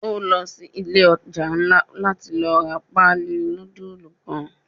O lo si ile oja nla lati ra paali nudulu kan.